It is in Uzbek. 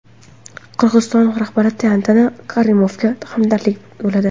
Qirg‘iziston rahbari Tatyana Karimovaga ham hamdardlik yo‘lladi.